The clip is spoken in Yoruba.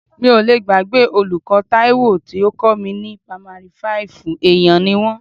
Mi ò lé gbàgbé olùkọ́ Taiwo tó kọ́ mi ní pamari fáìfù, èèyàn ni wọ́n.